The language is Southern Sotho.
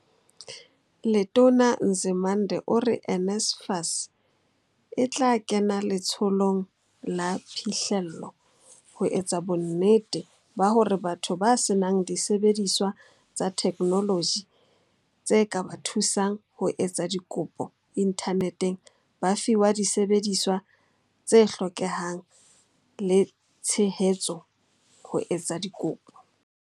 Letona Nzimande ore NSFAS e tla kena letsholong la phihlello, ho etsa bonnete ba hore batho ba senang disebediswa tsa theknoloji tse ka ba thusang ho etsa dikopo inthaneteng ba fiwa disebediswa tse hlokehang le tshehetso ho etsa dikopo.